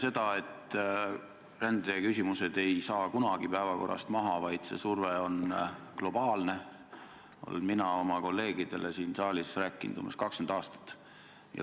Seda, et rändeküsimused ei kao kunagi päevakorralt, vaid see surve on globaalne, olen mina oma kolleegidele rääkinud siin saalis umbes 20 aastat.